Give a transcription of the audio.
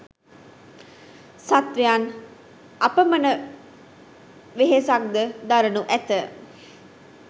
සත්වයන් අපමණ වෙහෙසක් ද දරනු ඇත.